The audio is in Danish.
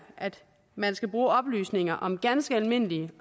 at man skal bruge oplysninger om ganske almindelige